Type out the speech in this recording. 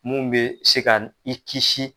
Mun bɛ se ka i kisi